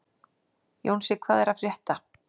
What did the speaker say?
Jónsi, hvað er að frétta?